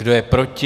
Kdo je proti?